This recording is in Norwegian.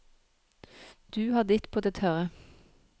Du har ditt på det tørre.